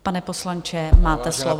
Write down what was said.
Pane poslanče, máte slovo.